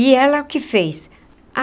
E ela o que fez?